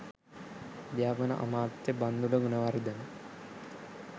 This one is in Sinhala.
අධ්‍යාපන අමාත්‍ය බන්ධුල ගුණවර්ධන